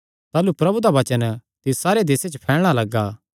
ताह़लू प्रभु दा वचन तिस सारे देसे च फैलणा लगा